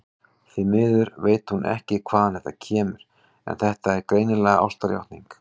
Því miður veit hún ekki hvaðan það kemur, en þetta er greinilega ástarjátning.